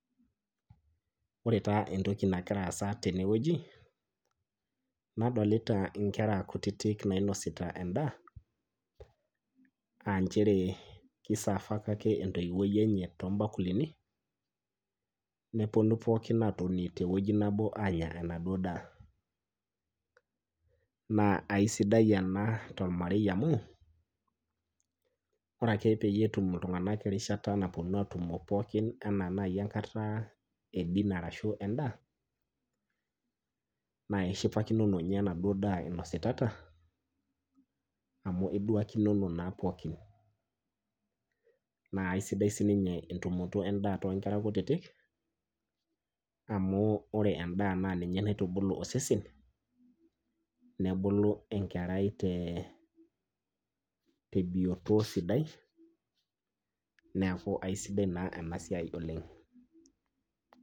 Ore taa entoki nagiraasa tenewueji nadolita inkera kutitik nainosita endaa aanchere keisafaka ake entoiwuoi enye toombakulini nepuonu pookin atoni tewueji nabo aanya enaduo daa. Naa aisidai ena tolmarei amu ore ake peyie etum iltung'ana erishata napuonu atumo pookin anaa nai enkataa e dinner arashu endaa naa ishipakinono ninye enaduo daa inositata amu , iduakinono naa pookin. Naa aisidai sininye entumoto endaa toonkera kutitik amu ore endaa naaninye naitubulu osesen nebulu enkerai tee tebioto sidai neaku aisidai naa enasiai oleng'.